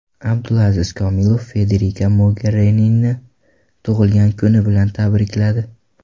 Abdulaziz Komilov Federika Mogerinini tug‘ilgan kuni bilan tabrikladi.